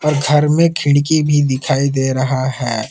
घर में खिड़की भी दिखाई दे रहा है।